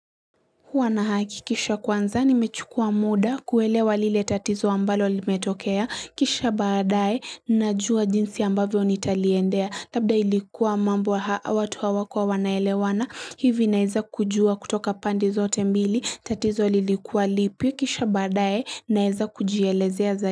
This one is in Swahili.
Huwa nahakikisha kwanza nimechukua muda kuelewa lile tatizo ambalo limetokea kisha badaye najua jinsi ambavyo nitaliendea labda ilikuwa mambo watu hawakuwa wanaelewana hivi naeza kujua kutoka pande zote mbili tatizo lilikuwa lipi kisha badaye naeza kujielezea zaidi.